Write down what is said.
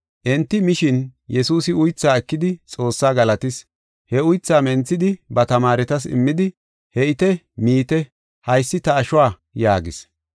Enti mishin, Yesuusi uythaa ekidi Xoossaa galatis. He uythaa menthidi ba tamaaretas immidi, “He7ite, miite, haysi ta ashuwa” yaagis.